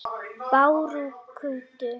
Bárugötu